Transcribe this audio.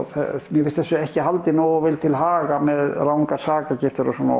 mér finnst þessu ekki haldið nógu vel til haga með rangar sakargiftir og svona